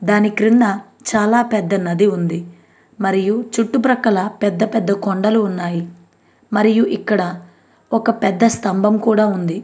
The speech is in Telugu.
దాని క్రింద చాలా పెద్ద నది ఉంది మరియు చుట్టూ ప్రకాల పెద్ద పెద్ద కొండలు ఉన్నాయి మరియు ఇక్కడ ఒక పెద్ద స్తంభం కూడా ఉంది --